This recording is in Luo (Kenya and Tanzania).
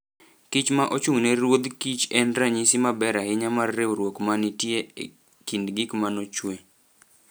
kich ma ochung'ne ruodh kich' en ranyisi maber ahinya mar riwruok ma nitie e kind gik ma nochue.